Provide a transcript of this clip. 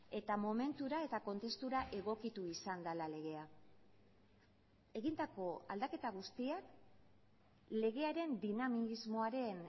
eta momentura eta kontestura egokitu izan dela legea egindako aldaketa guztiak legearen dinamismoaren